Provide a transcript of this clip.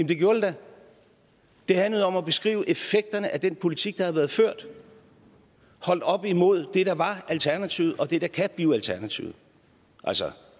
det gjorde det da det handlede om at beskrive effekterne af den politik der har været ført holdt op imod det der var alternativet og det der kan blive alternativet altså